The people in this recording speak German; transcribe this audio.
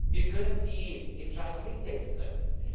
Wir können die Entscheidung nicht selbst treffen.